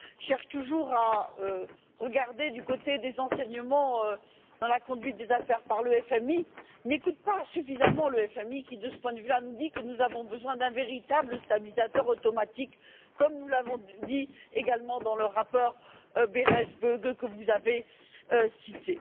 cherchent toujours à tirer des enseignements de la conduite des affaires par le FMI n'écoutent pas suffisamment le FMI qui, de ce point de vue, nous dit que nous avons besoin d'un véritable stabilisateur automatique, comme nous l'avons dit également dans le rapport Berès Böge que vous avez cité.